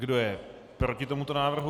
Kdo je proti tomuto návrhu?